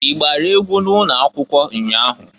I gbara egwu n'ụnọakwụkwọ ụnya ahụ?